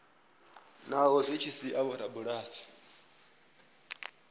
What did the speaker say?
naho zwi tshi sia vhorabulasi